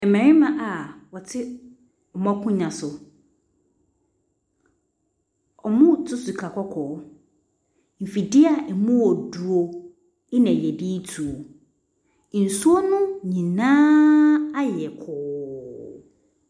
Mmarima a wɔte wɔn akonnwa so. Wɔretu sika kɔkɔɔ. Mfidie a ɛmu yɛ duru na wɔde retu. Nsuo no nyinaa ayɛ kɔɔ.